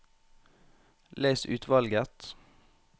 Les utvalget